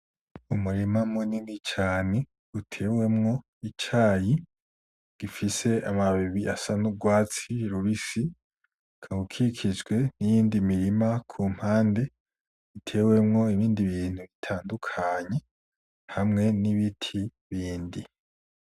Umurima munini cane utewemwo icayi gifise amababi asa n'urwatsi rubisi ukaba ukikijwe niyindi mirima kumpande itewemwo ibindi bintu bitandukanye hamwe n'ibiti bindi.